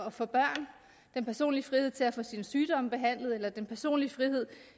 at få børn den personlige frihed til at få sin sygdom behandlet eller den personlige frihed